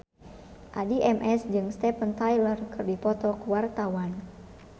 Addie MS jeung Steven Tyler keur dipoto ku wartawan